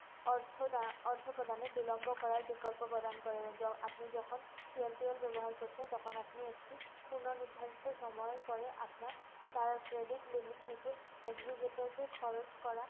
অর্থ দা~ অর্থ প্রদানে বিলম্ব করার বিকল্প প্রদান করে। য~ আপনি যখন TNPA ব্যবহার করছেন তখন আপনি একটি পুণ্য নির্ধারিত সময়ের পরে আপনার তারা credit limit থেকে executor কে খরচ করা